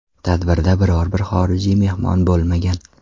Tadbirda biror bir xorijiy mehmon bo‘lmagan.